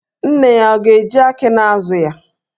Nne ya, ọ ga-eji aki na-azụ ya?